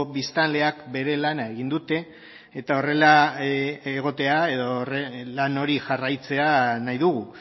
biztanleak bere lana egin dute eta horrela egotea edo lan hori jarraitzea nahi dugu